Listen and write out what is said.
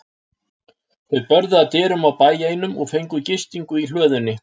Þau börðu að dyrum á bæ einum og fengu gistingu í hlöðunni.